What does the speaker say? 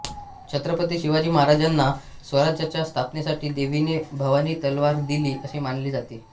छत्रपती शिवाजी महाराजांना स्वराज्याच्या स्थापनेसाठी देवीने भवानी तलवार दिली असे मानले जाते